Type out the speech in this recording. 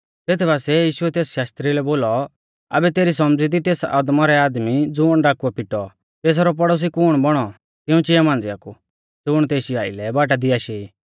तेथ बासिऐ यीशुऐ तेस शास्त्री लै बोलौ आबै तेरी सौमझ़ी दी तेस अदमौरै आदमी ज़ुण डाकुऐ पिटौ तेसरौ पड़ोसी कुण बौणौ तिऊं चिआ मांझ़िया कु ज़ुण तेशी आलै बाटा दी आशै ई